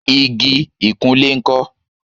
igi ìkunlé ńkọ́?